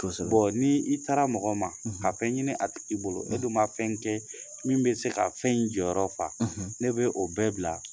ni i taara mɔgɔ ma ka fɛn ɲini a tigi bolo e du ma fɛn kɛ min bɛ se ka fɛn in jɔyɔrɔ fa ne be o bɛɛ bila